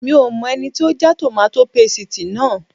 Mi ò mọ ẹni tó já tòmátò pasìtì náà